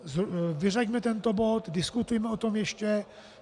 Vyřaďme tento bod, diskutujme o tom ještě.